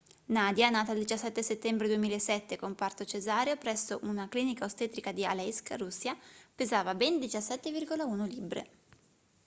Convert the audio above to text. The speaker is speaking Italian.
nadia nata il 17 settembre 2007 con parto cesareo presso una clinica ostetrica di aleisk russia pesava ben 17,1 libbre